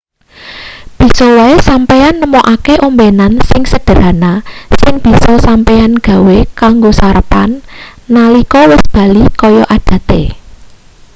bisa wae sampeyan nemokake ombenan sing sederhana sing bisa sampeyan gawe kanggo sarapan nalika wis bali kaya adate